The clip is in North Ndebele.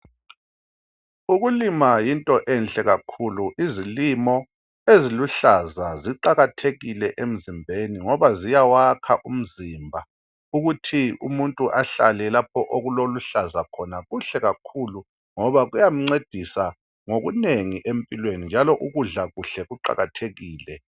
Ukulima yinto enhle kakhulu. Izilimo eziluhlaza, ziqakathekile emzimbeni, ngoba ziyawakha umzimba. Ukuthi umuntu ahlale lapho okulokuhlaza khona kuhle kakhulu, ngoba kuyamncedisa ngokunengi empilweni, njalo ukudla kuhle, kuqakathekile.